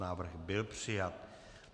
Návrh byl přijat.